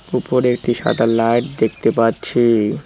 উপরে একটি সাদা লাইট দেখতে পাচ্ছি।